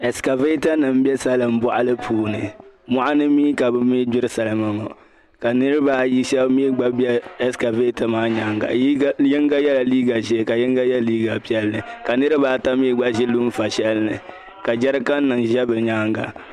esikavetanima m be salinboɣali puuni moɣani mi ka bɛ mi gbiri Salima ŋɔ ka niriba ayi be esikaveta maa nyaŋga yiŋga yela liiga ʒee ka yiŋga ye liiga piɛlli ka niriba ata mi ʒi lunfa shelini ka jɛrikan nima ʒe bɛ nyaanga